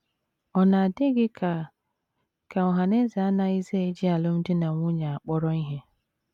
Ọ̀ na - adị gị ka ka ọhaneze anaghịzi eji alụmdi na nwunye akpọrọ ihe?